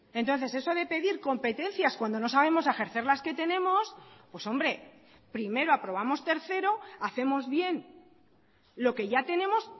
entonces eso de pedir competencias cuando no sabemos ejercer las que tenemos pues hombre primero aprobamos tercero hacemos bien lo que ya tenemos